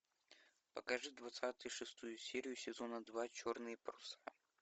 покажи двадцать шестую серию сезона два черные паруса